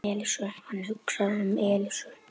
Hann hugsaði um Elísu.